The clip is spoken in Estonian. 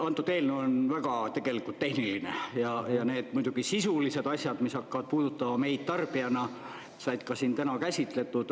Antud eelnõu on tegelikult väga tehniline ja need muidugi sisulised asjad, mis hakkavad puudutama meid tarbijana, said ka siin täna käsitletud.